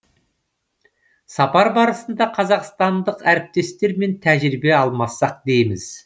сапар барысында қазақстандық әріптестермен тәжірибе алмассақ дейміз